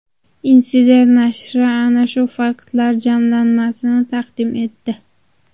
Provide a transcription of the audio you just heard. Insider nashri ana shu faktlar jamlanmasini taqdim etdi .